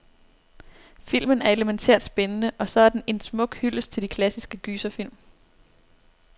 Filmen er elemæntært spændende, og så er den en smuk hyldest til de klassiske gyserfilm.